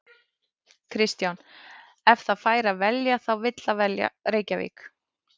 Kristján: Ef það fær að velja þá vill það velja Reykjavík?